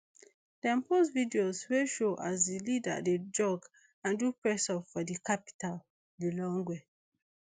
dem post videos wey show as di leader dey jog and do pressups for di capital lilongwe